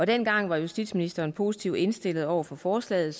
dengang var justitsministeren positivt indstillet over for forslaget